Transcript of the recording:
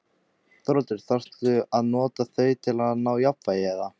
Þórhildur: Þarftu að nota þau til að ná jafnvægi, eða?